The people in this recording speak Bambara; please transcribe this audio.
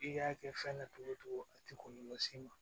I k'a kɛ fɛn na cogo cogo a tɛ kɔlɔlɔ s'i ma